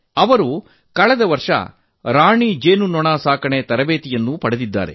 ಅವರು ಕಳೆದ ವರ್ಷ ರಾಣಿ ಜೇನುನೊಣ ಸಾಕಣೆ ತರಬೇತಿ ಪಡೆದಿದ್ದಾರೆ